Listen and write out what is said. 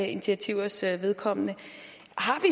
initiativers vedkommende